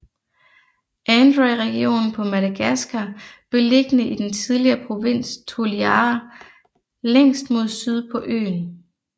Androy region på Madagaskar beliggende i den tidligere provins Toliara længst mod syd på øen